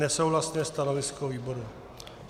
Nesouhlasné stanovisko výboru.